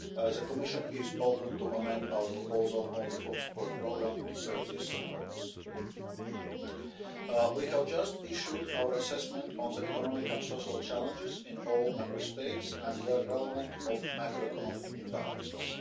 The Commission is open to amending our proposal on the reform support programme to serve this purpose. We have just issued our assessment of the economic and social challenges in all Member States and, where relevant, of macroeconomic imbalances.